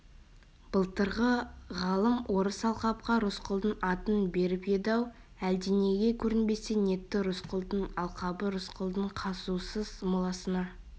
былтырғы ғалым орыс алқапқа рысқұлдың атын беріп еді-ау әлденеге көрінбесе нетті рысқұлдың алқабы рысқұлдың қазусыз моласына